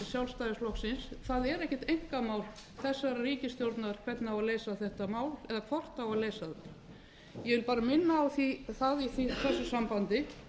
sjálfstæðisflokksins það er ekkert einkamál þessarar ríkisstjórnar hvernig á að leysa þetta mál eða hvort það á að leysa það ég vil bara minna á það í þessu sambandi